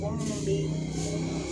Mɔgɔ minnu be